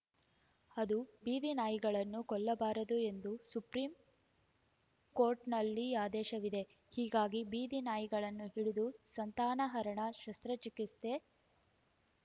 ಅದು ಬೀದಿನಾಯಿಗಳನ್ನು ಕೊಲ್ಲಬಾರದು ಎಂದು ಸುಪ್ರೀಂಕೋರ್ಟ್‌ನಲ್ಲಿ ಆದೇಶವಿದೆ ಹೀಗಾಗಿ ಬೀದಿನಾಯಿಗಳನ್ನು ಹಿಡಿದು ಸಂತಾನಹರಣ ಶಸ್ತ್ರಚಿಕಿತ್ಸೆ